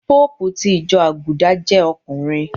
Pópùù ti ìjọ Àgùdà jẹ́ ọkùnrin.